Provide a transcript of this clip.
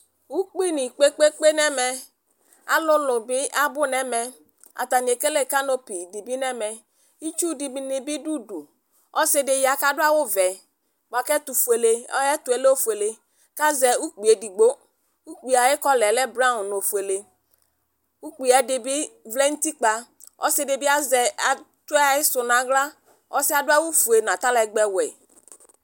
Ʋkpi nɩ kpekpekpe nɛmɛ alʋlʋ bɩ abʋ nɛmɛ atanɩ ekele kalopɩ dɩbɩ nɛmɛ ɩtsʋ dɩnɩ dʋ ʋdʋ Ɔsɩ dɩ ya kadʋ awʋ vɛ bʋa kayɛɛtʋɛ lɛ ofʋele kazɛ ʋkpi edɩgbo ʋkpie ayɩ kɔla lɛ braɔn nu ofʋele ʋkpie ɛdibɩ vlɛ nʋ ʋtɩkpa ɔsɩdɩbɩ atʋ ayɩsʋɛ naɣla ɔsɩɛ adʋ awʋ fʋe nʋ atalɛgbɛ ɔwʋɛ